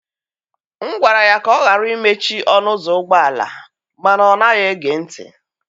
M gwara ya ka ọ ghara imechi ọnụ ụzọ ụgbọ ala mana ọ naghị ege ntị.